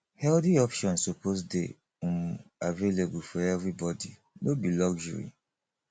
healthy options suppose dey um available for everybody no be luxury